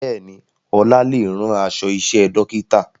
Bẹ́ẹ̀ni, Ọlá lè rán aṣọ iṣẹ́ dókítà